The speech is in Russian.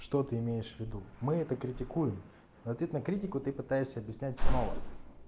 что ты имеешь в виду мы это критикуем в ответ на критику ты пытаешься объяснять снова